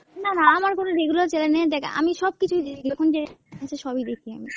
না না আমার কোন regular channel নেই দ্যাখ আমি সবকিছুই দেখি, যখন সবই দেখি আমি।